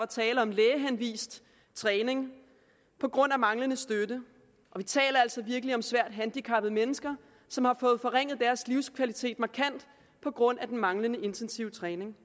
tale om lægehenvist træning på grund af manglende støtte vi taler altså om virkelig svært handicappede mennesker som har fået forringet deres livskvalitet markant på grund af den manglende intensive træning